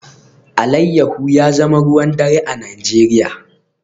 Alayyahu ya zama ruwan dare a Najeriya